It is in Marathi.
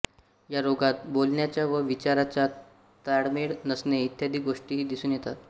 या रोगात बोलण्याचा व विचाराचा ताळमेळ नसणे इत्यादी गोष्टीही दिसून येतात